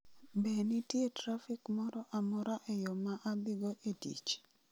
Be nitie trafik moro amora e yo ma adhigo e tich?